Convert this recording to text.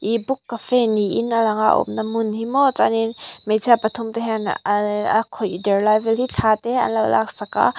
ih book cafe niin a lang a a awmna hmun hi maw chuanin hmeichhia pathum te hian a a khawih der lai vel te hi thla anlo laksak a.